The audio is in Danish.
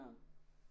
Nå